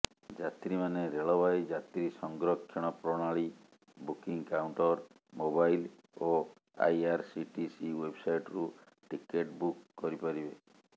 ଯାତ୍ରୀମାନେ ରେଳବାଇ ଯାତ୍ରୀ ସଂରକ୍ଷଣ ପ୍ରଣାଳୀ ବୁକିଂ କାଉଣ୍ଟର ମୋବାଇଲ ଓ ଆଇଆରସିଟିସି ୱେବସାଇଟରୁ ଟିକେଟ ବୁକ କରିପାରିବେ